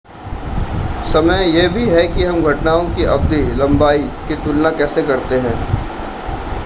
समय यह भी है कि हम घटनाओं की अवधि लंबाई की तुलना कैसे करते हैं